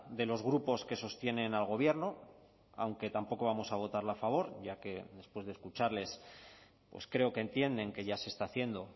de los grupos que sostienen al gobierno aunque tampoco vamos a votarla a favor ya que después de escucharles pues creo que entienden que ya se está haciendo